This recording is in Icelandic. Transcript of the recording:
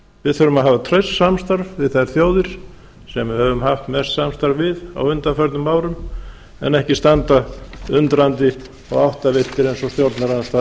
við þurfum að hafa traust samstarf við þær þjóðir sem við höfum haft mest samstarf við á undanförnum árum en ekki standa undrandi og áttavilltir eins og stjórnarandstaðan